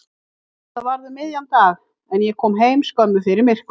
Þetta varð um miðjan dag en ég kom heim skömmu fyrir myrkur.